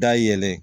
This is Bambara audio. Da yɛlɛ